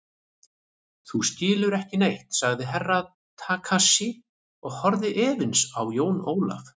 Þú skilur ekki neitt, sagði Herra Takashi og horfði efins á Jón Ólaf.